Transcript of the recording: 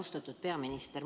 Austatud peaminister!